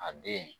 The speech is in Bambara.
A den